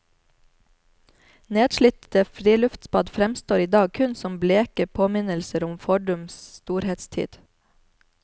Nedslitte friluftsbad fremstår i dag kun som bleke påminnelser om fordums storhetstid.